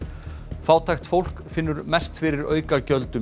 fátækt fólk finnur mest fyrir aukagjöldum í